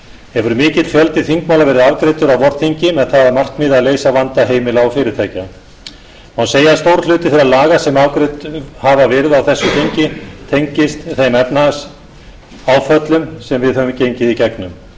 hefur mikill fjöldi þingmála verið afgreiddur á vorþingi með það að markmiði að leysa vanda heimila og fyrirtækja má segja að stór hluti þeirra laga sem afgreidd hafa verið á þessu þingi tengist þeim efnahagsáföllum sem við höfum gengið í gegnum þá